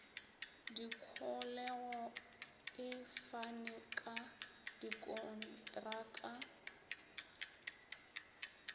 dikholego e fane ka dikontraka